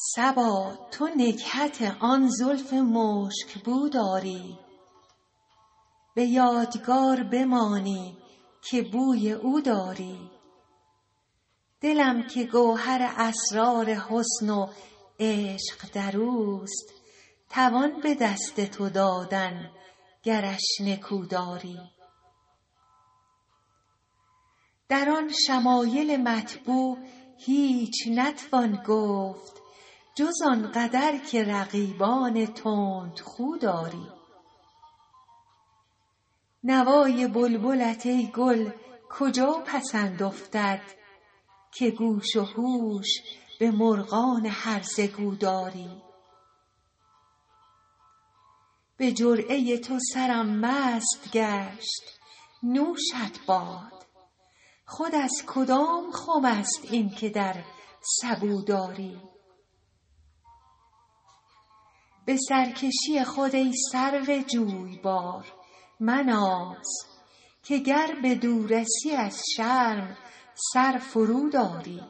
صبا تو نکهت آن زلف مشک بو داری به یادگار بمانی که بوی او داری دلم که گوهر اسرار حسن و عشق در اوست توان به دست تو دادن گرش نکو داری در آن شمایل مطبوع هیچ نتوان گفت جز این قدر که رقیبان تندخو داری نوای بلبلت ای گل کجا پسند افتد که گوش و هوش به مرغان هرزه گو داری به جرعه تو سرم مست گشت نوشت باد خود از کدام خم است این که در سبو داری به سرکشی خود ای سرو جویبار مناز که گر بدو رسی از شرم سر فروداری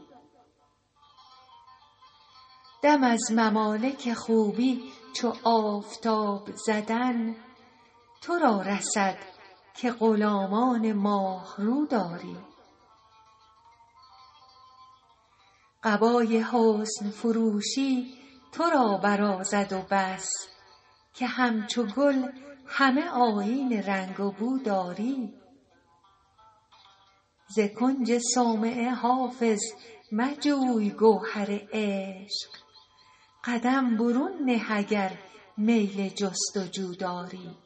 دم از ممالک خوبی چو آفتاب زدن تو را رسد که غلامان ماه رو داری قبای حسن فروشی تو را برازد و بس که همچو گل همه آیین رنگ و بو داری ز کنج صومعه حافظ مجوی گوهر عشق قدم برون نه اگر میل جست و جو داری